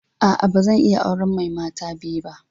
A'a, ba zan iya ba auren mata biyu ba.